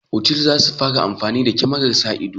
Otal za su fara amfani da kyamarar sa ido.